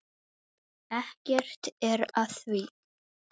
Ekkert er að því.